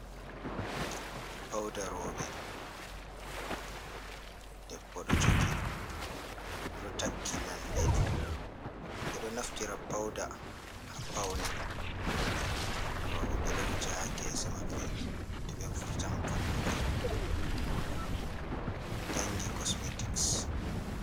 Pauda rouɓe, debbo ɗon jogi oɗon takki lalle. Ɓe ɗo naftira Pauda ha paune. Rouɓe ɓe ɗo wuja ha Gese Mabɓe to ɓe vurtan Fattule, dangi kosmetik.